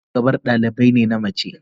Ina shugabar dalibai na mace?